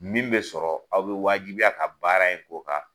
Min bɛ sɔrɔ aw bɛ wajibiya ka baara in k'o kan